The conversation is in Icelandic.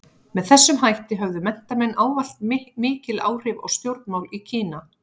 Með þessum hætti höfðu menntamenn ávallt mikil áhrif á stjórnmál í Kína.